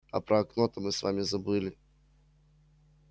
а про окно то мы с вами забыли